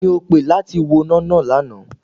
Ta ni o pè láti woná náà lánàá?